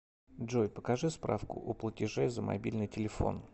джой покажи справку о платеже за мобильный телефон